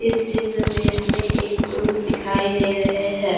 इस चित्र में हमें एक पुरुष दिखाई दे रहे हैं।